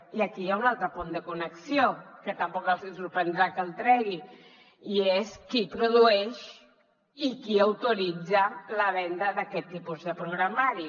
i aquí hi ha un altre punt de connexió que tampoc els hi sorprendrà que el tregui i és qui produeix i qui autoritza la venda d’aquest tipus de programari